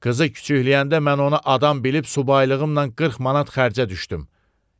Qızı küçükləyəndə mən ona adam bilib subaylığımnan 40 manat xərcə düşdüm.